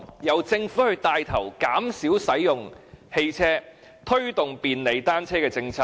由政府牽頭，減少使用汽車，推動便利單車的政策。